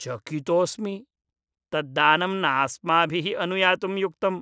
चकितोऽस्मि! तत् दानं नास्माभिः अनुयातुं युक्तम्।